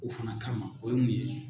O fana kama, o ye mun ye?